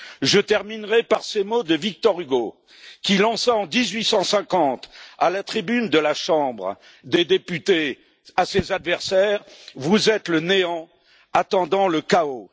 Je terminerai par ces mots de Victor Hugo, qui lança à ses adversaires, en 1850, à la tribune de la Chambre des députés vous êtes le néant attendant le chaos.